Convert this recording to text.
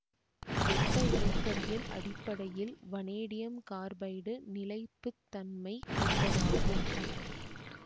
வெப்ப இயக்கவியல் அடிப்படையில் வனேடியம் கார்பைடு நிலைப்பு தன்மை கொண்டதாகும்